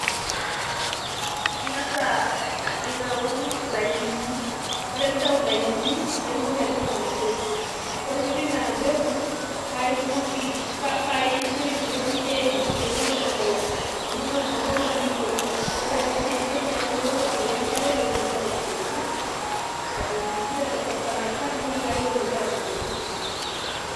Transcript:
Ing'asa aitau ilainini. Ore pintau ilainini paitumoki atipika ina peku. Ore pipik ina peku, paitumoki pa intoip tentoki naijo eima pemeosh enkolong'. Amu tenewosh enkolong',niitoi. Ore piidip nejia, paimooki abukoki enkare petumoki atubulutu. Abukoki esaa naifaa petumoki atubulutu.